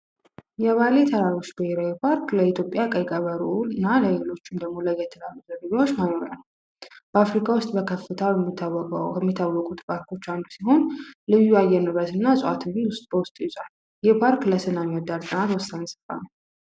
የባሌ ተራሮች ብሔራዊ ፓርክ ለኢትዮጵያ ቀይ ቀበሮና ለሌሎችም ደሞ ለየት ላሉ ዝርያዎች መኖሪያ ነው። በአፍሪካ ውስጥ በከፍተው የሚታወቁት ፓርኮች አንዱ ሲሆን፤ ልዩ አየር ንብረት እና ንፁህ አየር በውስጡ ይዟል። ይህ ፓርክ ለሰላም ወሳኝ ስፍራ ነው።